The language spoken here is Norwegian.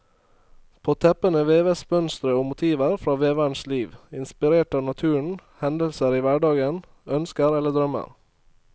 På teppene veves mønstre og motiver fra veverens liv, inspirert av naturen, hendelser i hverdagen, ønsker eller drømmer.